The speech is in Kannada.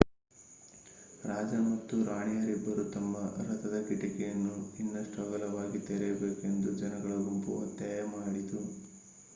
ರಾಜ ಮತ್ತು ರಾಣಿಯರಿಬ್ಬರು ತಮ್ಮ ರಥದ ಕಿಟಿಕಿಯನ್ನು ಇನ್ನಷ್ಟು ಅಗಲವಾಗಿ ತೆರೆಯಬೇಕು ಎಂದು ಜನಗಳ ಗುಂಪು ಒತ್ತಾಯ ಮಾಡಿತು